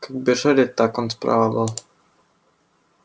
как бежали так он справа был